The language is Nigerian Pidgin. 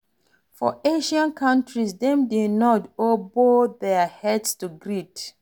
For Asian countries dem dey nod or bow their head to greet